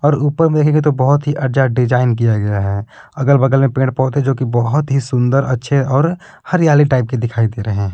ऊपर मे देखेंगे तो बहुत ही अज्जा डिजाइन किया गया है। अगल बगल में पेड़ पौधे जो कि बहुत ही सुंदर अच्छे और हरियाली टाइप के दिखाई दे रहे हैं।